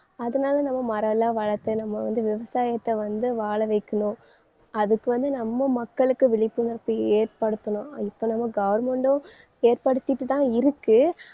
அதனால நம்ம மரம் எல்லாம் வளர்த்து நம்ம வந்து விவசாயத்தை வந்து வாழவைக்கணும் அதுக்கு வந்து நம்ம மக்களுக்கு விழிப்புணர்ச்சி ஏற்படுத்தணும். இப்ப நம்ம government உம் ஏற்படுத்திட்டுதான் இருக்கு.